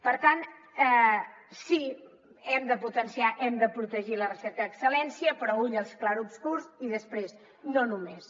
per tant sí hem de potenciar hem de protegir la recerca d’excel·lència però ull als clarobscurs i després no només